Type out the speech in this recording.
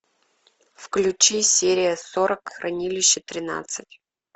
включи серия сорок хранилище тринадцать